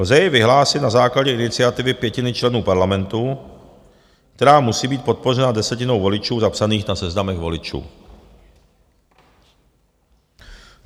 Lze jej vyhlásit na základě iniciativy pětiny členů parlamentu, která musí být podpořena desetinou voličů zapsaných na seznamech voličů.